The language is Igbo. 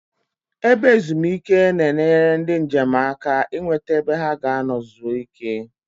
Ebe ezumike na-eneyere ndi njem aka I nweta ebe ha ga-ano zuo ike